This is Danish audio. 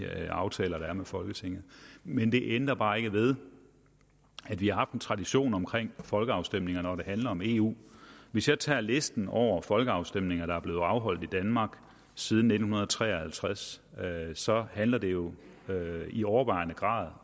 aftaler der er med folketinget men det ændrer bare ikke ved at vi har haft en tradition omkring folkeafstemninger når det handler om eu hvis jeg tager listen over folkeafstemninger der er blevet afholdt i danmark siden nitten tre og halvtreds så handler det jo i overvejende grad